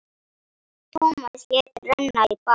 Tómas lét renna í bað.